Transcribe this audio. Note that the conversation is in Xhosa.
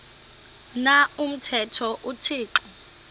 na umthetho uthixo